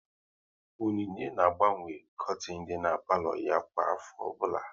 Onyinye na-agbanwe kortin dị n'palo ya kwa afọ ọbụla